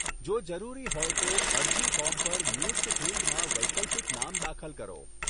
જો જરૂરી હોય તો, અરજી ફોર્મ પર નિયુક્ત ફીલ્ડમાં વૈકલ્પિક નામ દાખલ કરો.